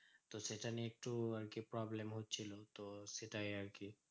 তো সেটা নিয়ে একটু আরকি problem হচ্ছিলো তো সেটাই আরকি।